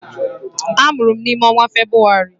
Amụrụ m n'ime ọnwa Febrụwarị.